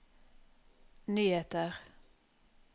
nyheter